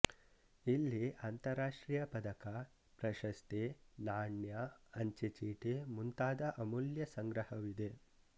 ಇಲ್ಲಿ ಅಂತಾರಾಷ್ಟ್ರೀಯ ಪದಕ ಪ್ರಶಸ್ತಿ ನಾಣ್ಯ ಅಂಚೆಚೀಟಿ ಮುಂತಾದ ಅಮೂಲ್ಯ ಸಂಗ್ರಹವಿದೆ